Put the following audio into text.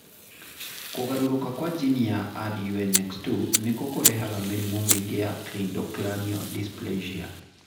Kũgarũrũka kwa jini ya RUNX2 nĩkuo kũrehaga mĩrimũ mĩingĩ ya cleidocranial dysplasia.